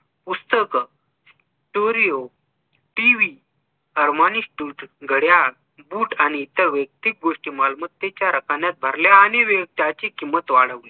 पुस्तक story o TV अर्मानीश तूर्त घड्याळ boot आणि इतर वैक्तिक गोष्टी मालमत्तेच्या रकण्यात भरल्या आणि त्याची किंमत वाढवली